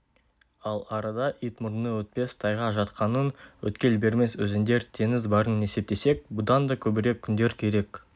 ал арада ит мұрны өтпес тайға жатқанын өткел бермес өзендер теңіз барын есептесек бұдан да көбірек күндер керек